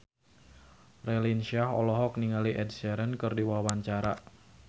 Raline Shah olohok ningali Ed Sheeran keur diwawancara